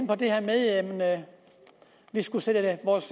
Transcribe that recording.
på det her med at vi skulle sætte vores